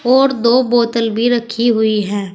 और दो बोतल भी रखी हुई है।